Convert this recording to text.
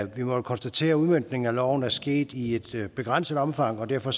vi må jo konstatere at udmøntningen af loven er sket i et begrænset omfang og derfor